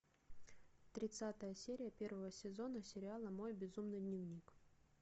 тридцатая серия первого сезона сериала мой безумный дневник